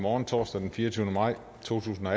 morgen torsdag den fireogtyvende maj to tusind og